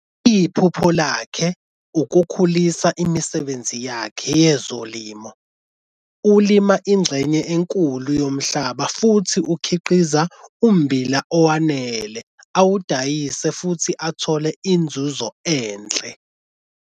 Iphupho lakhe ukukhulisa imisebenzi yakhe yezolimo, ulima ingxenye enkulu yomhlaba futhi ukhiqiza ummbila owanele awudayise futhi athole inzuzo enhle.